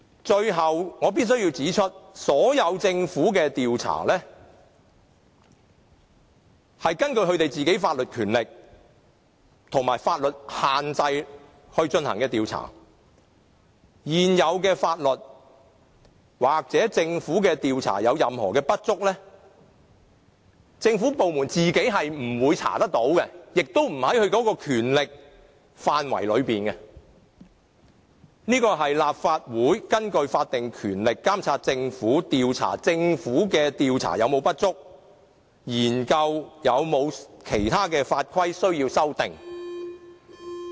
最後，我必須指出，政府的所有調查，是根據部門本身的法律權力和法律限制來進行調查，如現有的法例或政府的調查有任何不足，政府部門本身不會調查到結果，亦不在其權力範圍內，這便要立法會根據法定權力，監察政府，調查政府所作的調查有否不足，研究有否其他的法規需要修訂。